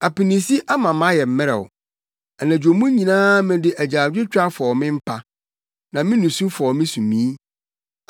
Apinisi ama mayɛ mmerɛw. Anadwo mu nyinaa mede agyaadwotwa fɔw me mpa, na me nusu fɔw me sumii.